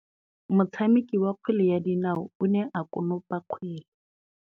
Motshameki wa kgwele ya dinaô o ne a konopa kgwele.